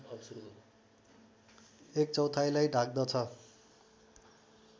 एक चौथाइलाई ढाक्दछ